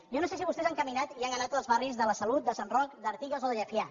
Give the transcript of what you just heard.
jo no sé si vostès han caminat i han anat als barris de la salut de sant roc d’artigues o de llefià